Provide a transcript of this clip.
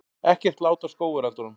Ekkert lát á skógareldunum